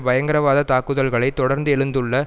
பயங்கரவாத தாக்குதல்களை தொடர்ந்து எழுந்துள்ள